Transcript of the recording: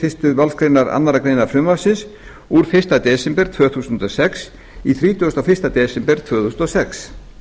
fyrstu málsgrein annarrar greinar frumvarpsins úr fyrsta desember tvö þúsund og sex í þrítugasta og fyrsta desember tvö þúsund og sex